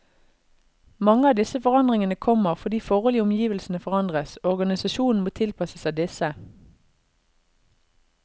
Mange av disse forandringene kommer fordi forhold i omgivelsene forandres, og organisasjonen må tilpasse seg disse.